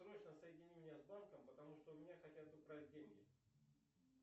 срочно соедини меня с банком потому что у меня хотят украсть деньги